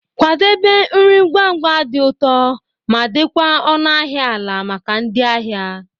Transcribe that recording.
Kwadebe nri ngwa ngwa, di ụtọ ma di kwa ọnụ ahịa ala maka ndị ahịa.